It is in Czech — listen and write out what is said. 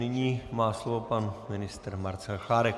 Nyní má slovo pan ministr Marcel Chládek.